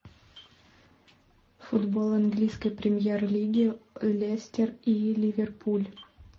футбол английской премьер лиги лестер и ливерпуль